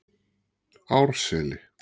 Árseli